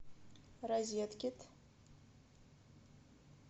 розеткед